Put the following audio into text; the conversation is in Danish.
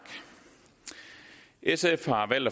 sf har valgt